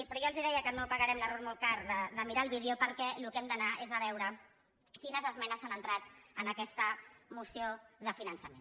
però ja els deia que no pagarem l’error molt car de mirar el vídeo perquè a allò que hem d’anar és a veure quines esmenes s’han entrat en aquesta moció de finançament